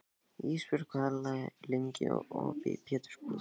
Ísbjörg, hvað er lengi opið í Pétursbúð?